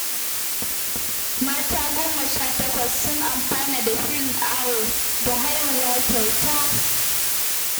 Mata goma sha takwas sun amfana da shirin awo da haihuwa kyauta